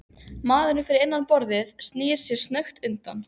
Maðurinn fyrir innan borðið snýr sér snöggt undan.